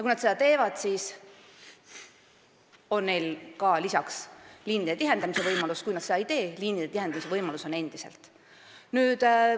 Kui nad seda teevad, siis on neil lisaks liinide tihendamise võimalus, ja kui nad seda ei tee, on liinide tihendamise võimalus endiselt.